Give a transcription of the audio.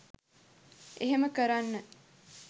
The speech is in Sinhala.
එහෙම කරන්න